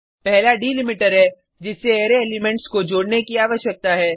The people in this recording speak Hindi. पहला डिलिमीटर है जिससे अरै एलिमेंट्स को जोडने की आवश्यकता है